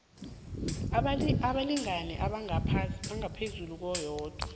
abalingani abangaphezu koyedwa